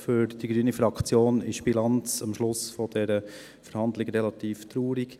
Für die Fraktion Grüne ist die Bilanz am Ende dieser Verhandlung relativ traurig.